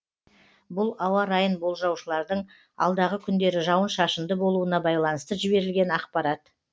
бұл ауа райын болжаушылардың алдағы күндері жауын шашынды болуына байланысты жіберілген ақпарат